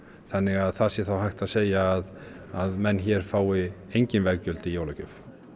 þannig að það sé þá hægt að segja að að menn hér fái e ngin veggjöld í jólagjöf